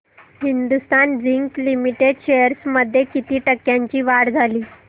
Hindustan zinc limited shares मध्ये किती टक्क्यांची वाढ झाली